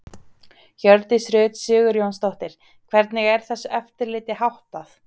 Hjördís Rut Sigurjónsdóttir: Hvernig er þessu eftirliti háttað?